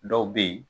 Dɔw bɛ yen